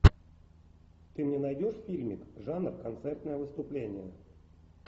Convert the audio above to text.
ты мне найдешь фильмик жанр концертное выступление